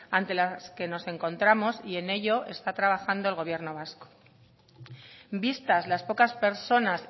ante las que nos encontramos y en ello está trabajando el gobierno vasco vistas las pocas personas